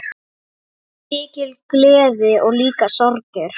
Mikil gleði og líka sorgir.